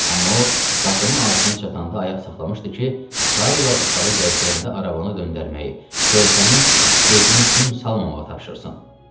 Amma o, qapının ağzına çatanda ayaq saxlamışdı ki, Karl uşağı gəzdirəndə arabanı döndərməyi, körpənin gözünə gün salmamağı tapşırsın.